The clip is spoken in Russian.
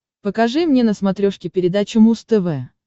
покажи мне на смотрешке передачу муз тв